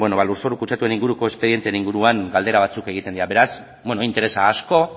lurzoru kutsatuaren inguruko espedienteen inguruan galdera batzuk egiten dira beraz interesa asko